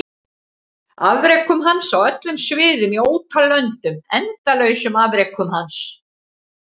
Afrekum hans á öllum sviðum í ótal löndum endalausum afrekum hans?